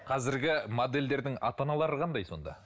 қазіргі модельдердің ата аналары қандай сонда